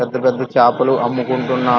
పెద్ద పెద్ద చాపలు అమ్ముకుంటున్నా --